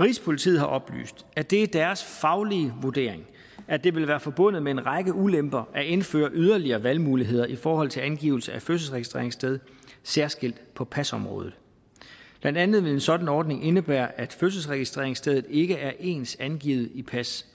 rigspolitiet har oplyst at det er deres faglige vurdering at det vil være forbundet med en række ulemper at indføre yderligere valgmuligheder i forhold til angivelse af fødselsregistreringssted særskilt på pasområdet blandt andet vil en sådan ordning indebære at fødselsregistreringsstedet ikke er ens angivet i pas